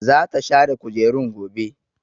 Zata share kujerun gobe.